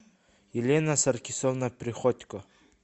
елена саркисовна приходько